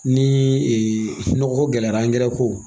Ni nɔgɔko gɛlɛyara ko